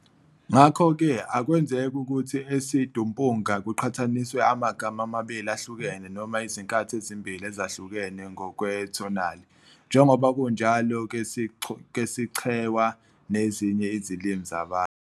Ngakho-ke akwenzeki ukuthi esiTumbuka kuqhathaniswe amagama amabili ahlukene noma izinkathi ezimbili ezahlukene ngokwe-tonally, njengoba kunjalo ngesiChewa nezinye izilimi zeBantu.